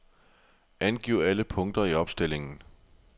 Angiv alle punkter i opstillingen.